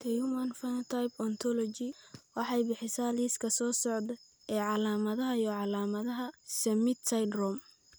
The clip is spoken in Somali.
The Human Phenotype Ontology waxay bixisaa liiska soo socda ee calaamadaha iyo calaamadaha Summitt syndrome.